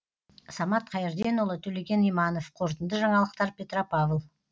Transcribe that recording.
самат қайырденұлы төлеген иманов қорытынды жаңалықтар петропавл